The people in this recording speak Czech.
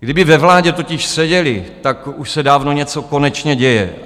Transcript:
Kdyby ve vládě totiž seděli, tak už se dávno něco konečně děje.